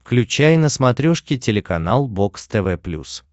включай на смотрешке телеканал бокс тв плюс